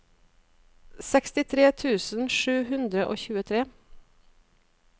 sekstitre tusen sju hundre og tjuetre